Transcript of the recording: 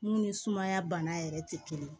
Mun ni sumaya bana yɛrɛ tɛ kelen